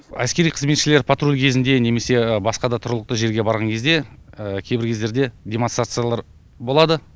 әскери қызметшілер патруль кезінде немесе басқа да тұрғылықты жерге барған кезде кейбір кездерде демонстрациялар болады